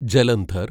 Jalandhar